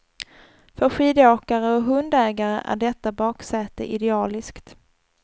För skidåkare och hundägare är detta baksäte idealiskt.